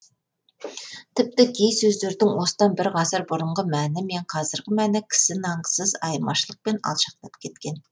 тіпті кей сөздердің осыдан бір ғасыр бұрынғы мәні мен қазіргі мәні кісі нанғысыз айырмашылықпен алшақтап кеткен